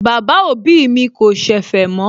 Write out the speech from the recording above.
Bàbá òbí mi kò ṣẹ̀fẹ̀ mọ́